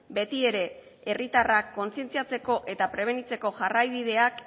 betiere herritarrak kontzientziatzeko eta prebenitzeko jarraibideak